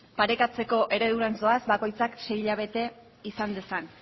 parekatzeko eredurantz goaz bakoitzak sei hilabete izan dezan